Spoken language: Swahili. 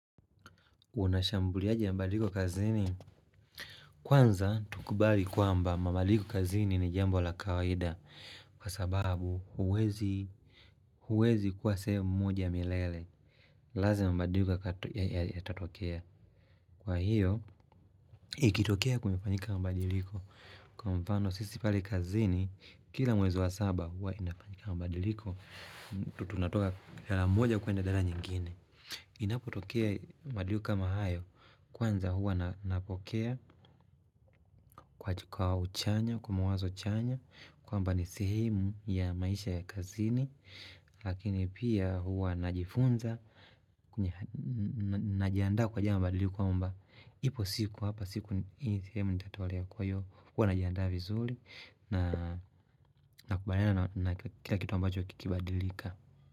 Unashambuliaje mbadiliko kazini kwanza tukubali kwamba mabadiliko kazini ni jambo la kawaida kwa sababu huwezi huwezi kuwa sehemu moja milele lazima mbadiliko yatatokea kwa hiyo ikitokea kumefanyika mbadiliko kwa mfano sisi pale kazini kila mwezi wa saba huwa inafanyika mbadiliko tutunatoka la moja kuenda dhala nyingine. Inapotokea mbadiliko kama hayo Kwanza hua napokea kwa uchanya, kwa mawazo chanya kwamba ni sehemu ya maisha ya kazini Lakini pia huwa najifunza najiandaa kwa jambo mbadiliko ya kwamba ipo siku hapa siku ni sehemu nitatoe leo kwa hiyo Kwa najiandaa vizuri na kubaliana na kila kitu ambacho kikibadilika.